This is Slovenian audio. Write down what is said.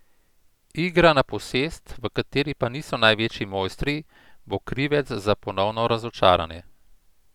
Igra na posest, v kateri pa niso največji mojstri, bo krivec za ponovno razočaranje.